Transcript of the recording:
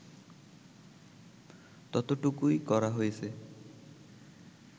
ততটুকুই করা হয়েছে